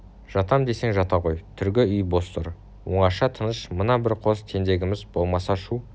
жатам десең жата ғой төргі үй бос тұр оңаша тыныш мына бір қос тентегіміз болмаса шу